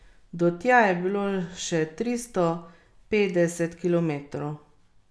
Do tja je bilo še tristo petdeset kilometrov.